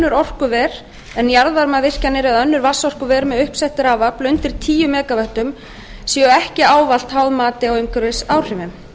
önnur orkuver en jarðvarmavirkjanir eða önnur vatnsorkuver með uppsett rafafl undir tíu mega vöttum séu ekki ávallt háð mati á umhverfisáhrifum